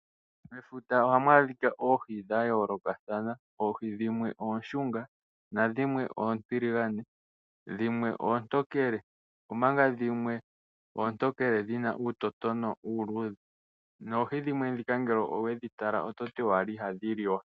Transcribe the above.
Mefuta ohamu adhika oohi dhayoolokathana. Oohi dhimwe oonshunga nodhimwe oontiligane. Dhimwe oontokele, omanga dhimwe oontokele dhina uutotombi uuluudhe. Oohi dhimwe ndhika shampa wedhi tala, ototi owala ihadhi liwa.